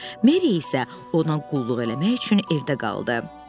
Meri isə ona qulluq eləmək üçün evdə qaldı.